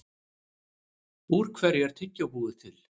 Úr hverju er tyggjó búið til?